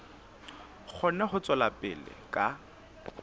kgone ho tswela pele ka